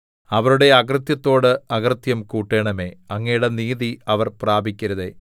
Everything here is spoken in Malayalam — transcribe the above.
അവരുടെ അകൃത്യത്തോട് അകൃത്യം കൂട്ടണമേ അങ്ങയുടെ നീതി അവർ പ്രാപിക്കരുതേ